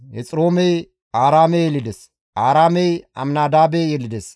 Hexiroomey Aaraame yelides; Aaraamey Aminadaabe yelides;